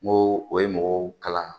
N ko o ye mɔgɔw kalan